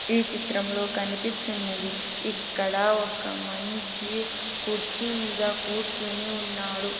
ఈ చిత్రంలో కనిపిస్తున్నది ఇక్కడ ఒక మంచి కుర్చీ మీద కూర్చుని ఉన్నాడు.